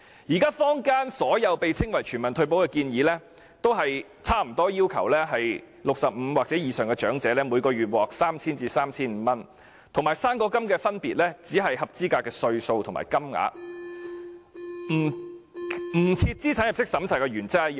現時坊間所有稱為全民退保的建議，均大致要求65歲或以上長者每月可獲派發 3,000 元至 3,500 元，與"生果金"的分別只在於合資格年齡和金額，與不設資產入息審查的原則一樣。